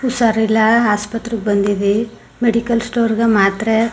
ಹುಷಾರಿಲ್ಲಾ ಆಸ್ಪತ್ರೆಗೆ ಬಂದಿವಿ medical store ಗೆ ಮಾತ್ರೆ --